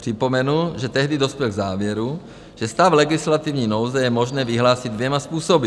Připomenu, že tehdy dospěl k závěru, že stav legislativní nouze je možné vyhlásit dvěma způsoby.